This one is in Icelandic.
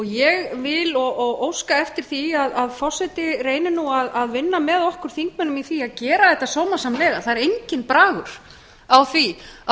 ég vil og óska eftir því að forseti reyni nú að vinna með okkur þingmönnum í því að gera þetta sómasamlega það er enginn bragur á því að